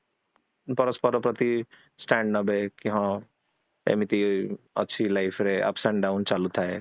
ପରସ୍ପର ପ୍ରତି stand ନେବେ କି ହଁ ଏମିତି ଅଛି life ରେ ups and down ଚାଲୁ ଥାଏ